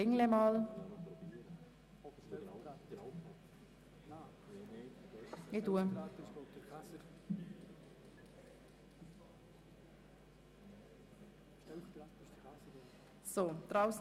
Wer die Planungserklärung 1 zum Themenblock 9.a Personalentwicklung annimmt, stimmt Ja, wer diese ablehnt, stimmt Nein.